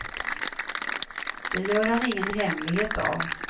Det gör han ingen hemlighet av.